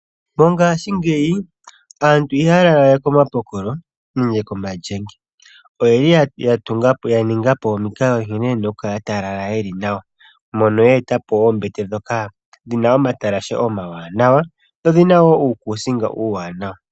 Mongaashingeyi aantu ihaya lala we komapokolo nenge komalyenge. Oyeli ya ningapo omikalo nkene yena okukala taya lala nawa, mono ya etapo oombete ndhoka dhina omatalashe omawanawa, dho odhina wo uukusinga uuwanawa.